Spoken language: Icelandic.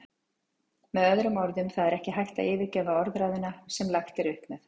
Með öðrum orðum, það er ekki hægt að yfirgefa orðræðuna sem lagt er upp með.